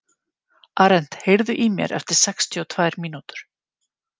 Arent, heyrðu í mér eftir sextíu og tvær mínútur.